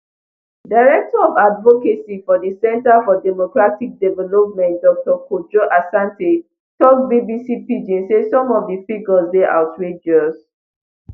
director of advocacy for di centre for democratic development dr kojo asante tok bbc pidgin say some of di figures dey outrageous